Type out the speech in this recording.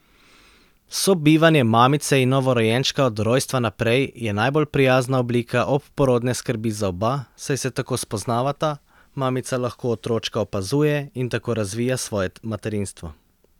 Sobivanje mamice in novorojenčka od rojstva naprej je najbolj prijazna oblika obporodne skrbi za oba, saj se tako spoznavata, mamica lahko otročka opazuje in tako razvija svoje materinstvo.